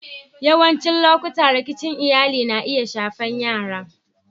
Yawancin lokatai rikici cikin Iyalli na iya shafan yara.